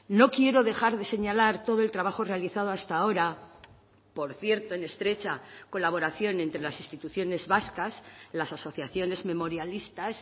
no quiero dejar de señalar todo el trabajo realizado hasta ahora por cierto en estrecha colaboración entre las instituciones vascas las asociaciones memorialistas